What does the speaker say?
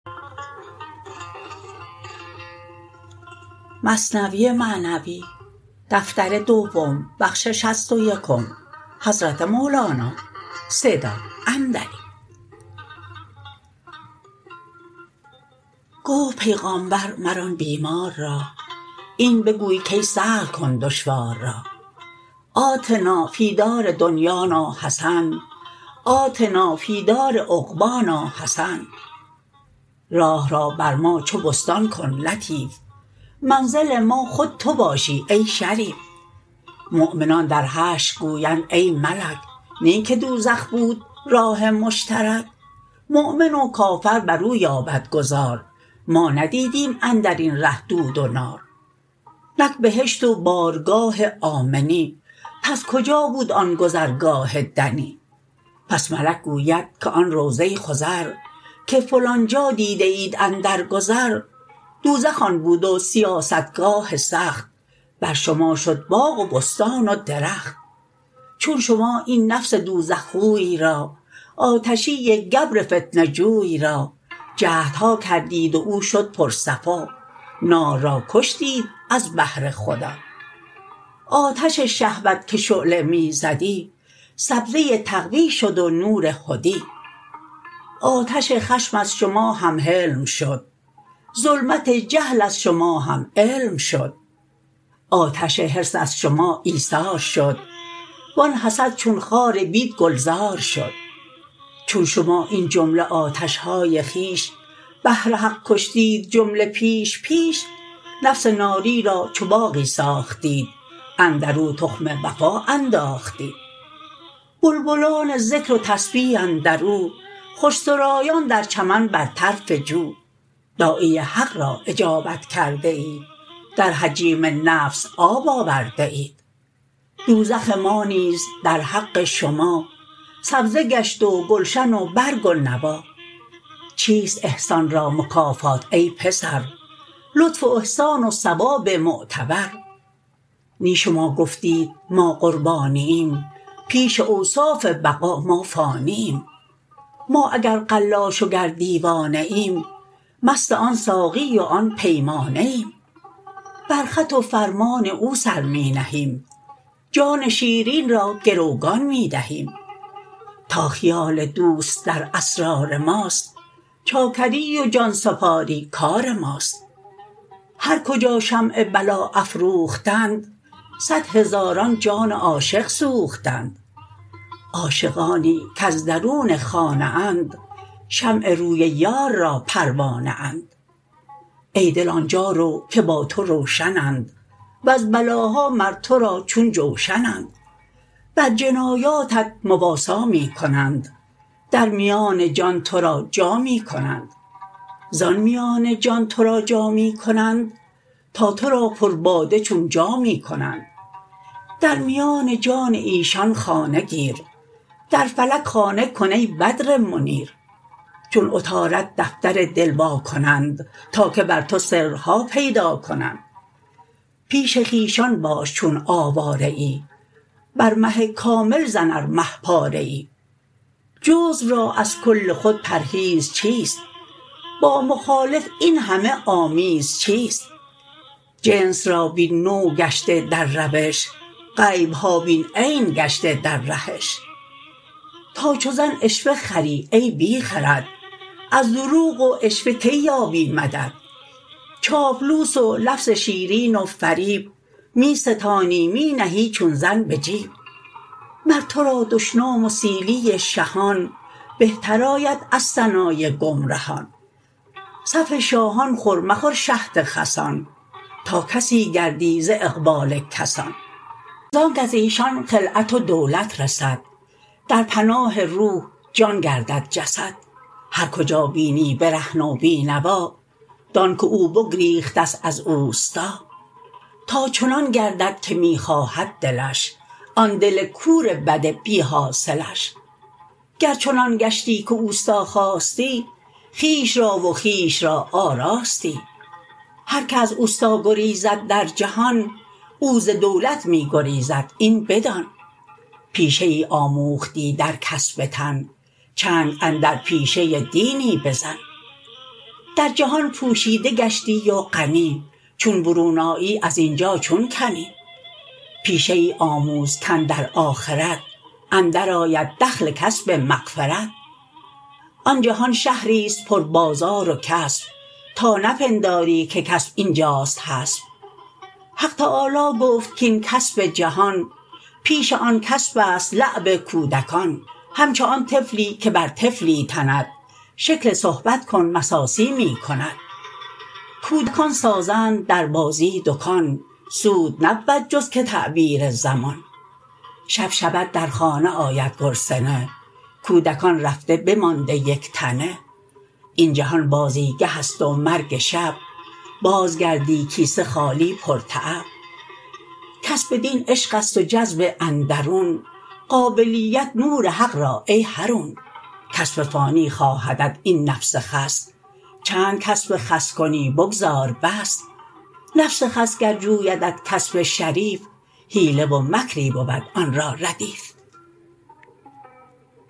گفت پیغامبر مر آن بیمار را این بگو کای سهل کن دشوار را آتنا فی دار دنیانا حسن آتنا فی دار عقبانا حسن راه را بر ما چو بستان کن لطیف منزل ما خود تو باشی ای شریف مؤمنان در حشر گویند ای ملک نی که دوزخ بود راه مشترک مؤمن و کافر برو یابد گذار ما ندیدیم اندرین ره دود و نار نک بهشت و بارگاه آمنی پس کجا بود آن گذرگاه دنی پس ملک گوید که آن روضه خضر که فلان جا دیده اید اندر گذر دوزخ آن بود و سیاستگاه سخت بر شما شد باغ و بستان و درخت چون شما این نفس دوزخ خوی را آتشی گبر فتنه جوی را جهدها کردید و او شد پر صفا نار را کشتید از بهر خدا آتش شهوت که شعله می زدی سبزه تقوی شد و نور هدی آتش خشم از شما هم حلم شد ظلمت جهل از شما هم علم شد آتش حرص از شما ایثار شد و آن حسد چون خار بد گلزار شد چون شما این جمله آتشهای خویش بهر حق کشتید جمله پیش پیش نفس ناری را چو باغی ساختید اندرو تخم وفا انداختید بلبلان ذکر و تسبیح اندرو خوش سرایان در چمن بر طرف جو داعی حق را اجابت کرده اید در جحیم نفس آب آورده اید دوزخ ما نیز در حق شما سبزه گشت و گلشن و برگ و نوا چیست احسان را مکافات ای پسر لطف و احسان و ثواب معتبر نی شما گفتید ما قربانییم پیش اوصاف بقا ما فانییم ما اگر قلاش و گر دیوانه ایم مست آن ساقی و آن پیمانه ایم بر خط و فرمان او سر می نهیم جان شیرین را گروگان می دهیم تا خیال دوست در اسرار ماست چاکری و جانسپاری کار ماست هر کجا شمع بلا افروختند صد هزاران جان عاشق سوختند عاشقانی کز درون خانه اند شمع روی یار را پروانه اند ای دل آنجا رو که با تو روشنند وز بلاها مر تو را چون جوشنند بر جنایاتت مواسا می کنند در میان جان ترا جا می کنند زان میان جان تو را جا می کنند تا تو را پر باده چون جامی کنند در میان جان ایشان خانه گیر در فلک خانه کن ای بدر منیر چون عطارد دفتر دل وا کنند تا که بر تو سرها پیدا کنند پیش خویشان باش چون آواره ای بر مه کامل زن ار مه پاره ای جزو را از کل خود پرهیز چیست با مخالف این همه آمیز چیست جنس را بین نوع گشته در روش غیبها بین عین گشته در رهش تا چو زن عشوه خری ای بی خرد از دروغ و عشوه کی یابی مدد چاپلوس و لفظ شیرین و فریب می ستانی می نهی چون زن به جیب مر تو را دشنام و سیلی شهان بهتر آید از ثنای گمرهان صفع شاهان خور مخور شهد خسان تا کسی گردی ز اقبال کسان زانک ازیشان خلعت و دولت رسد در پناه روح جان گردد جسد هر کجا بینی برهنه و بی نوا دان که او بگریختست از اوستا تا چنان گردد که می خواهد دلش آن دل کور بد بی حاصلش گر چنان گشتی که استا خواستی خویش را و خویش را آراستی هر که از استا گریزد در جهان او ز دولت می گریزد این بدان پیشه ای آموختی در کسب تن چنگ اندر پیشه دینی بزن در جهان پوشیده گشتی و غنی چون برون آیی ازینجا چون کنی پیشه ای آموز کاندر آخرت اندر آید دخل کسب مغفرت آن جهان شهریست پر بازار و کسب تا نپنداری که کسب اینجاست حسب حق تعالی گفت کین کسب جهان پیش آن کسبست لعب کودکان همچو آن طفلی که بر طفلی تند شکل صحبت کن مساسی می کند کودکان سازند در بازی دکان سود نبود جز که تعبیر زمان شب شود در خانه آید گرسنه کودکان رفته بمانده یک تنه این جهان بازی گهست و مرگ شب باز گردی کیسه خالی پر تعب کسب دین عشقست و جذب اندرون قابلیت نور حق را ای حرون کسب فانی خواهدت این نفس خس چند کسب خس کنی بگذار بس نفس خس گر جویدت کسب شریف حیله و مکری بود آن را ردیف